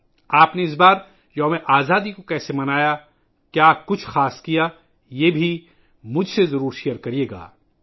اس بار آپ نے یوم آزادی کیسے منایا، کیا آپ نے کوئی خاص کام کیا، وہ بھی میرے ساتھ شیئر کریں